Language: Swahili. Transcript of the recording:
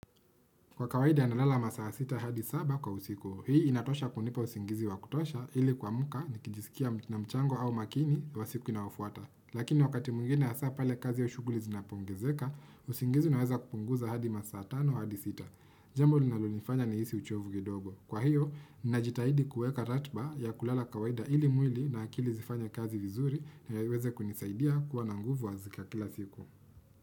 Kwa kawaida nalala masaa 6 hadi 7 kwa usiku. Hii inatosha kunipa usingizi wa kutosha ili kuamka nikijisikia na mchango au makini wa siku inayofuata. Lakini wakati mwingine hasa pale kazi au shughuli zinapoongezeka, usingizi unaweza kupunguza hadi masaa 5 hadi 6. Jambo linalonifanya nihisi uchovu kidogo. Kwa hiyo, najitahidi kuweka ratiba ya kulala kawaida ili mwili na akili zifanye kazi vizuri ndiyo iweze kunisaidia kuwa na nguvu ya kila siku.